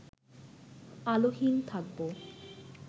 আলোহীন থাকব